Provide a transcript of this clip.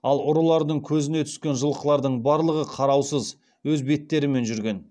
ал ұрылардың көзіне түскен жылқылардың барлығы қараусыз өз беттерімен жүрген